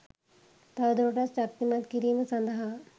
තවදුරටත් ශක්තිමත් කිරීම සඳහා